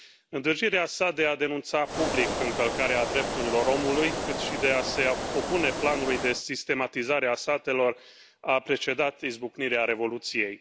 Îndârjirea sa de a denunța public încălcarea drepturilor omului, cât și de a se opune planului de sistematizare a satelor a precedat izbucnirea Revoluției.